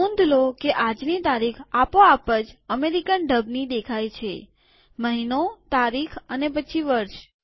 નોંધ લો કે આજની તારીખ આપો આપ જ અમેરિકન ઢબથી દેખાય છેમહિનોતારીખ અને પછી વર્ષ